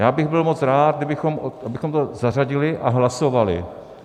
Já bych byl moc rád, abychom to zařadili a hlasovali.